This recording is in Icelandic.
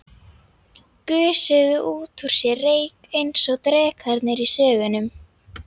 Gusuðu út úr sér reyk eins og drekarnir í sögunum.